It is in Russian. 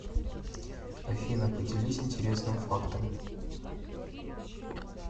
афина поделись интересным фактом